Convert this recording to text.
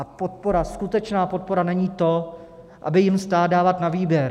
A podpora - skutečná podpora - není to, aby jim stát dával na výběr.